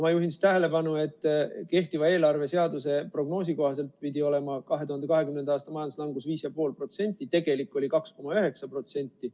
Ma juhin tähelepanu, et kehtiva eelarveseaduse prognoosi kohaselt pidi olema 2020. aasta majanduslangus 5,5%, tegelik oli 2,9%.